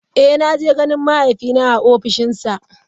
Eh naje ganin mahaifina a ofishinsa.